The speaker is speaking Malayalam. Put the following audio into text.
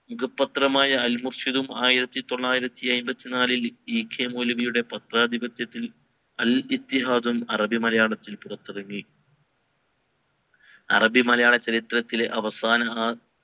മുഖ പത്രമായ അൽ മുർഷിദും ആയിരത്തി തൊള്ളായിരത്തി അയിമ്പതി നാലിൽ EK മൗലവിയുടെ പത്രാധിപത്യത്തിൽ അൽ ഇത്തിഹാദും അറബി മലയാളത്തിൽ പുറത്തിറങ്ങി അറബി മലയാള ചരിത്രത്തിലെ അവസാന